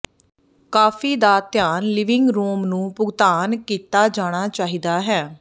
ਕਾਫ਼ੀ ਦਾ ਧਿਆਨ ਲਿਵਿੰਗ ਰੂਮ ਨੂੰ ਭੁਗਤਾਨ ਕੀਤਾ ਜਾਣਾ ਚਾਹੀਦਾ ਹੈ